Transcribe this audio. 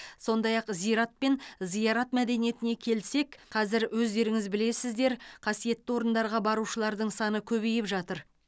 сондай ақ зират пен зиярат мәдениетіне келсек қазір өздеріңіз білесіздер қасиетті орындарға барушылардың саны көбейіп жатыр